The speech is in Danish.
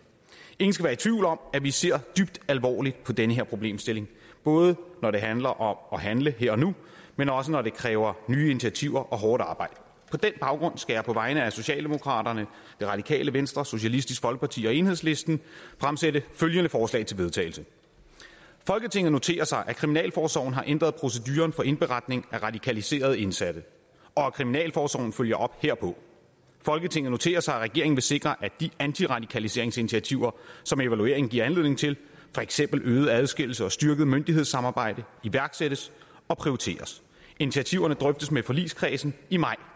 ingen skal være i tvivl om at vi ser dybt alvorligt på den her problemstilling både når det handler om at handle her og nu men også når det kræver nye initiativer og hårdt arbejde på den baggrund skal jeg på vegne af socialdemokraterne det radikale venstre socialistisk folkeparti og enhedslisten fremsætte følgende forslag til vedtagelse folketinget noterer sig at kriminalforsorgen har ændret proceduren for indberetning af radikaliserede indsatte og at kriminalforsorgen følger op herpå folketinget noterer sig at regeringen vil sikre at de antiradikaliseringsinitiativer som evalueringen giver anledning til for eksempel øget adskillelse og styrket myndighedssamarbejde iværksættes og prioriteres initiativerne drøftes med forligskredsen i maj